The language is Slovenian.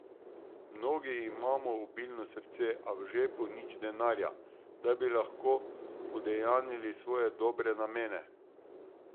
Mnogi imamo obilno srce, a v žepu nič denarja, da bi lahko udejanili svoje dobre namene.